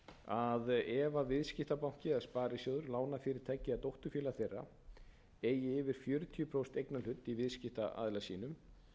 að ef viðskiptabanki eða sparisjóður lánafyrirtæki eða dótturfélög þeirra eigi yfir fjörutíu prósent eignarhlut í viðskiptaaðila sínum